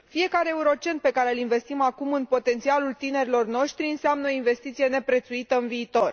Fiecare euro cent pe care îl investim acum în potențialul tinerilor noștri înseamnă o investiție neprețuită în viitor.